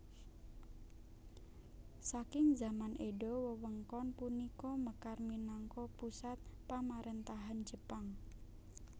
Saking zaman Edo wewengkon punika mekar minangka pusat pamaréntahan Jepang